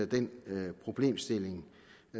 den problemstilling